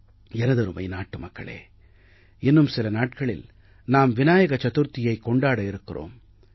எனதருமை நாட்டு மக்களே இன்னும் சில நாட்களில் நாம் விநாயக சதுர்த்தியைக் கொண்டாட இருக்கிறோம்